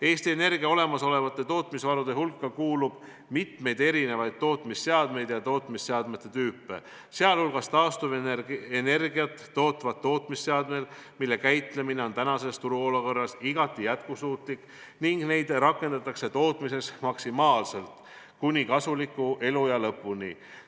" Eesti Energia olemasolevate tootmisvarude hulka kuulub hulk erinevat tüüpi tootmisseadmeid, sh taastuvenergiat tootvad seadmed, mille käitlemine on praeguses turuolukorras igati jätkusuutlik ning mida rakendatakse tootmises maksimaalselt kuni kasuliku eluea lõpuni.